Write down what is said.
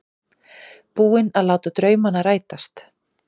Búinn að láta draumana rætast.